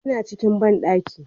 Ya na cikin banɗaki